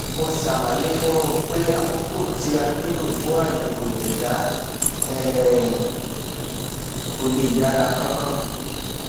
mo ṣàlàyé fún un pé àkókò tí a nílò fún àyèwò ẹdá um kò lè yára kánkán